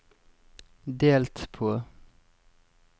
delt på